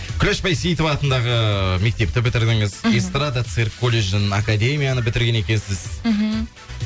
күләш бәйсейітова атындағы мектепті бітірдіңіз іхі эстрада цирк колледжін академияны бітірген екенсіз мхм